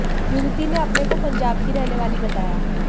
युवती ने अपने को पंजाब की रहने वाली बताया